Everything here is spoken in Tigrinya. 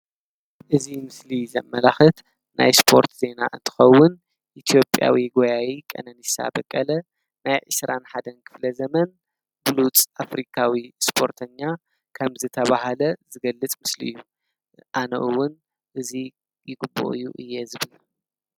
እዚ ምስሊ ዘመላክት ናይ ስፖርት ዜና እንትከውን ኢ/ያዊ ጎያይ ቀኔነሳ በቀለ ናይ 21 ክፍለ ዘመን ብሉፅ ኣፍሪካዊ ስፖርተኛ ከም ዝተባሃለ ዝገልፅ ምስሊ እዩ። ኣነ እውን እዚ ይግበኦ እዩ እየ ዝብል።